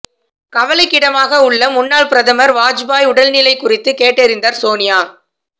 கவலைக்கிடமாக உள்ள முன்னாள் பிரதமர் வாஜ்பாய் உடல்நிலை குறித்து கேட்டறிந்தார் சோனியா